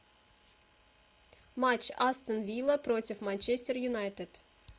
матч астон вилла против манчестер юнайтед